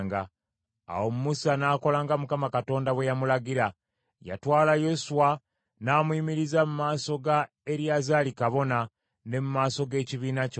Awo Musa n’akola nga Mukama Katonda bwe yamulagira. Yatwala Yoswa n’amuyimiriza mu maaso ga Eriyazaali kabona, ne mu maaso g’ekibiina kyonna.